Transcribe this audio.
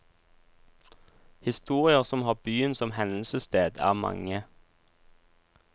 Historier som har byen som hendelsested er mange.